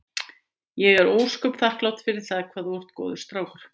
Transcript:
Ég er ósköp þakklát fyrir það hvað þú ert góður strákur.